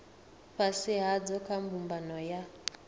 fhasi hadzo kha mbumbano ya